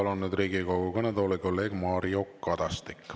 Ja palun nüüd Riigikogu kõnetooli kolleeg Mario Kadastiku.